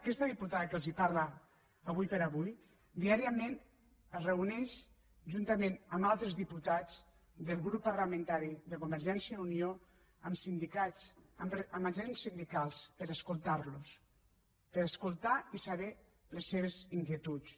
aquesta diputada que els parla ara com ara diàriament es reuneix juntament amb altres diputats del grup parlamentari de convergència i unió amb sindicats amb agents sindicals per escoltar los per escoltar i saber les seves inquietuds